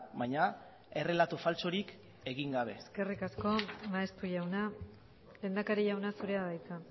baina errelatu faltsurik egin gabe eskerrik asko maeztu jauna lehendakari jauna zurea da hitza